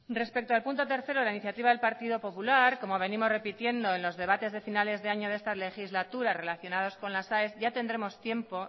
respecto al punto tercero de la iniciativa del partido popular como venimos repitiendo en los debates de finales de año de esta legislatura relacionados con las aes ya tendremos tiempo